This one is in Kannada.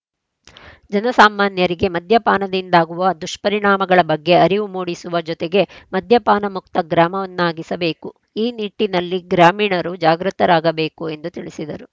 ಜನ ಸಾಮಾನ್ಯರಿಗೆ ಮದ್ಯಪಾನದಿಂದಾಗುವ ದುಷ್ಪರಿಣಾಮಗಳ ಬಗ್ಗೆ ಅರಿವು ಮೂಡಿಸುವ ಜೊತೆಗೆ ಮದ್ಯಪಾನ ಮುಕ್ತ ಗ್ರಾಮವನ್ನಾಗಿಸಬೇಕು ಈ ನಿಟ್ಟಿನಲ್ಲಿ ಗ್ರಾಮೀಣರೂ ಜಾಗೃತರಾಗಬೇಕು ಎಂದು ತಿಳಿಸಿದರು